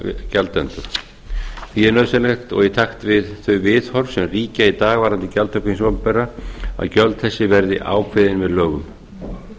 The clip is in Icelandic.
gjaldendur því er nauðsynlegt og í takt við þau viðhorf sem ríkja í dag varðandi gjaldtöku hins opinbera að gjöld þessi verði ákveðin með lögum